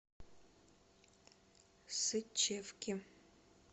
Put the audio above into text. сычевке